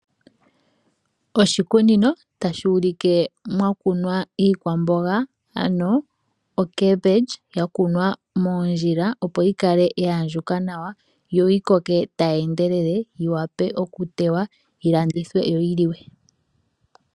Oshikunino tashi ulike mwa kunwa iikwamboga ano okembindji yakunwa moondjila, opo yikale ya andjuka nawa yoyi koke tayi endelele yi wape okutewa yi landithwe yo yi liwe.